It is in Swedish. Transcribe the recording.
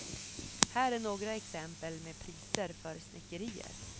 Här är några exempel med priser för snickerier.